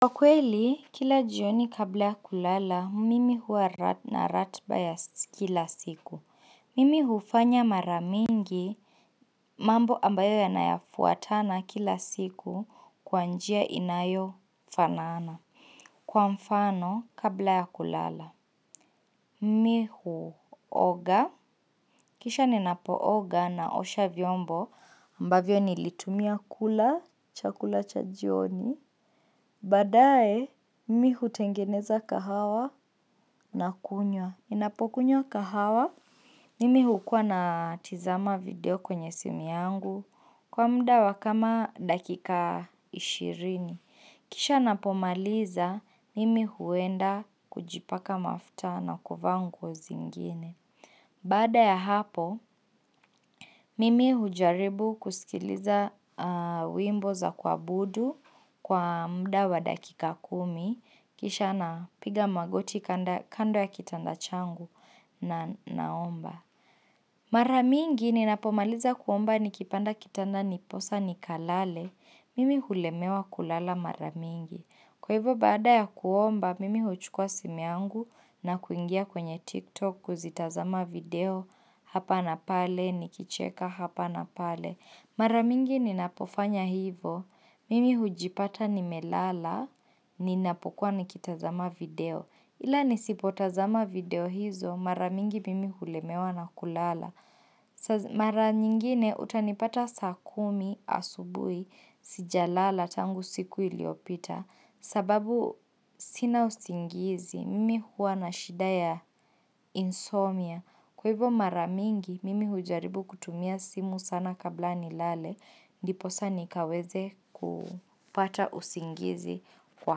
Kwa kweli, kila jioni kabla ya kulala, mimi huwa na ratiba ya kila siku. Mimi hufanya mara mingi mambo ambayo yanayafuatana kila siku kwa njia inayo fanana. Kwa mfano kabla ya kulala, mi huoga, kisha ninapo oga naosha vyombo, ambavyo nilitumia kula, chakula cha jioni. Baadae, mi hutengeneza kahawa na kunywa. Ninapokunywa kahawa, mimi hukua natizama video kwenye simu yangu kwa mda wa kama dakika ishirini. Kisha napomaliza, mimi huenda kujipaka mafta na kuvaa nguo zingine. Baada ya hapo, mimi hujaribu kusikiliza wimbo za kuabudu kwa mda wa dakika kumi, kisha napiga magoti kando ya kitanda changu na naomba. Mara mingi ninapomaliza kuomba nikipanda kitanda ndiposa nikalale, mimi hulemewa kulala mara mingi. Kwa hivyo baada ya kuomba, mimi huchukua simu yangu na kuingia kwenye TikTok kuzitazama video hapa na pale, nikicheka hapa na pale. Mara mingi ninapofanya hivo, mimi hujipata nimelala, ninapokua nikitazama video. Ila nisipotazama video hizo, mara mingi mimi hulemewa na kulala. Mara nyingine utanipata saa kumi asubui sijalala tangu siku iliopita sababu sina usingizi, mimi huwa na shida ya insomnia Kwa hivo mara mingi, mimi hujaribu kutumia simu sana kabla nilale Ndiposa nikaweze kupata usingizi kwa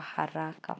haraka.